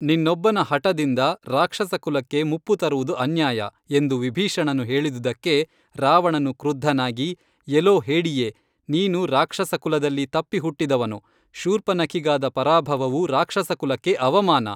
ನಿನ್ನೊಬ್ಬನ ಹಠದಿಂದ ರಾಕ್ಷಸ ಕುಲಕ್ಕೆ ಮುಪ್ಪು ತರುವುದು ಅನ್ಯಾಯ, ಎಂದು ವಿಭೀಷಣನು ಹೇಳಿದುದಕ್ಕೆ ರಾವಣನು ಕೃದ್ಧನಾಗಿ, ಎಲೋ ಹೇಡಿಯೇ ನೀನು ರಾಕ್ಷಸಕುಲದಲ್ಲಿ ತಪ್ಪಿ ಹುಟ್ಟಿದವನು, ಶೂರ್ಪನಖಿಗಾದ ಪರಾಭವವು ರಾಕ್ಷಸಕುಲಕ್ಕೆ ಅವಮಾನ